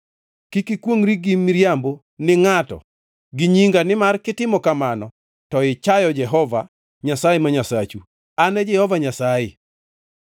“ ‘Kik ikwongʼri gi miriambo ni ngʼato gi nyinga nimar kitimo kamano to ichayo Jehova Nyasaye ma Nyasachu. An e Jehova Nyasaye.